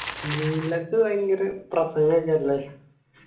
നിനക്കു ഭയങ്കര profile ഒക്കെ അല്ലെ